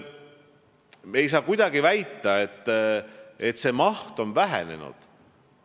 Ei saa kuidagi väita, nagu maht oleks vähenenud.